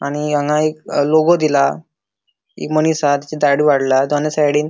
आणि हांगा एक लोगों दिला एक मनिस हा तचे दाढी वाडला ताचा दोनी साइडीन --